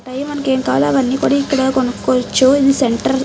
Time మనకి ఏంకావాలో అనికి కొనుకోవచ్చు ఇది సెంటర్ .